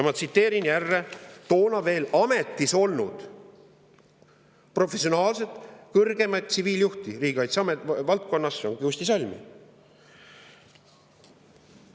Ma tsiteerin jälle toona veel ametis olnud professionaalset kõrgemat tsiviiljuhti riigikaitse valdkonnas Kusti Salmi.